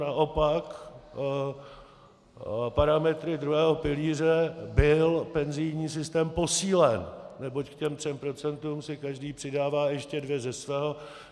Naopak parametry druhého pilíře byl penzijní systém posílen, neboť k těm třem procentům si každý přidává ještě dvě ze svého.